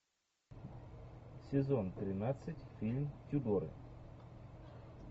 сезон тринадцать фильм тюдоры